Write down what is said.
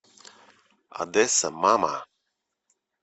одесса мама